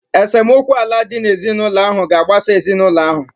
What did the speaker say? Esemokwu ala dị n'ezinụlọ ahụ ga-agbasa ezinụlọ ahụ.